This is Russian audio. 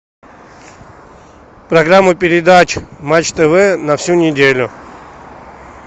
программа передач матч тв на всю неделю